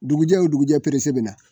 Dugujɛ o dugujɛ bɛna